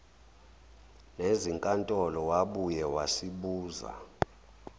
nezinkantolo wabuye wasibuza